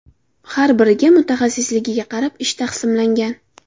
Har biriga mutaxassisligiga qarab, ish taqsimlangan.